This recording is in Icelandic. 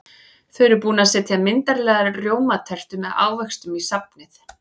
Þau eru búin að setja myndarlega rjómatertu með ávöxtum í safnið.